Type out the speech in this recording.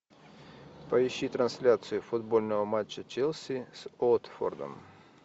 поищи трансляцию футбольного матча челси с уотфордом